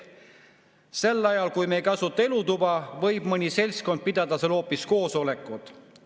Sel ajal, kui me ei kasuta elutuba, võib mõni seltskond pidada seal hoopis koosolekut.